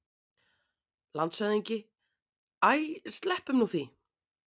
LANDSHÖFÐINGI: Æ, sleppum nú því!